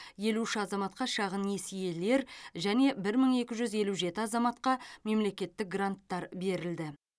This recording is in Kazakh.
елу үш азаматқа шағын несиелер және бір мың екі жүз елу жеті азаматқа мемлекеттік гранттар берілді